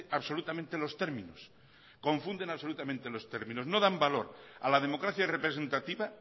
absolutamente los términos confunden absolutamente los términos no dan valor a la democracia representativa